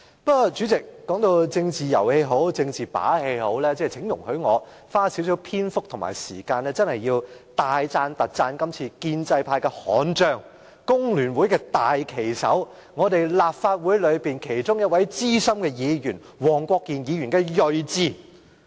不過，無論政治是遊戲也好，是把戲也罷，請容許我花少許時間，大讚特讚今次建制派的悍將、工聯會的大旗手、立法會的一位資深議員——黃國健議員——的睿智。